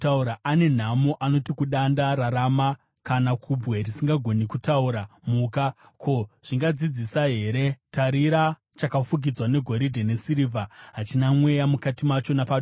Ane nhamo anoti kudanda, ‘Rarama!’ Kana kubwe risingagoni kutaura, ‘Muka!’ Ko, zvingadzidzisa here? Tarira, chakafukidzwa negoridhe nesirivha; hachina mweya mukati macho napaduku.